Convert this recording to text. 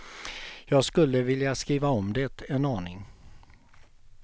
Jag skulle vilja skriva om det en aning.